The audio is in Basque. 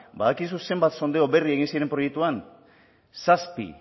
badakizu zenbat sondeo berri egin ziren proiektuan zazpi